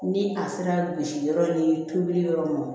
Ni a sera gosi yɔrɔ ni peloli yɔrɔ ma